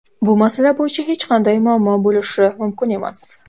Bu masala bo‘yicha hech qanday muammo bo‘lishi mumkin emas”.